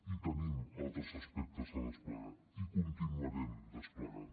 i tenim altres aspectes a desplegar i els continuarem desplegant